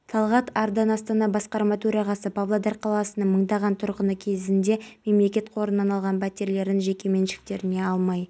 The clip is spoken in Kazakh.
мемлекет басшысы түрік республикасының бұрынғы президентін қазақстан республикасының тәуелсіздігіне жыл мерейтойлық медалімен марапаттады бауыржан асқаров қазмұнайгаз